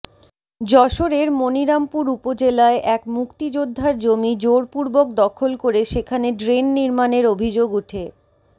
যশোরের মনিরামপুর উপজেলায় এক মুক্তিযোদ্ধার জমি জোরপূর্বক দখল করে সেখানে ড্রেন নির্মাণের অভিযোগ উঠে